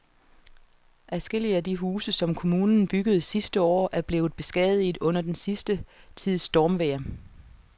Adskillige af de huse, som kommunen byggede sidste år, er blevet beskadiget under den sidste tids stormvejr.